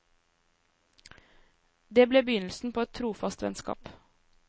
Det ble begynnelsen på et trofast vennskap.